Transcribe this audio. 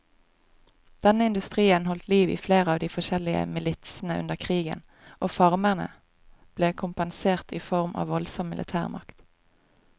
Denne industrien holdt liv i flere av de forskjellige militsene under krigen, og farmerne ble kompensert i form av voldsom militærmakt.